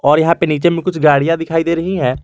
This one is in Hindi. और यहां पे नीचे में कुछ गाड़ियां दिखाई दे रही हैं।